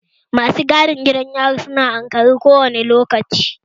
Masu gadin gidan yari su na ankare kowane lokaci